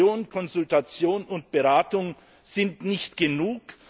Information, Konsultation und Beratung sind nicht genug.